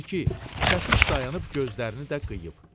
Gördü ki, çəpiş dayanıb gözlərini də qıyıb.